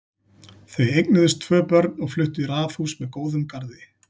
Þau eignuðust tvö börn og fluttu í raðhús með góðum garði.